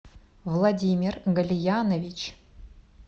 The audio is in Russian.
владимир галиянович